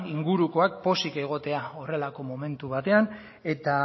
inguruak pozik egotea horrelako momentu batean eta